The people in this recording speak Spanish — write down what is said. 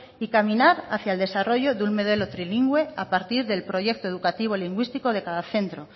y caminar hacia el desarrollo de un modelo trilingüe a partir del proyecto educativo lingüístico de cada centro